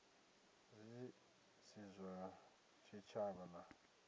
zwi si zwa tshitshavha na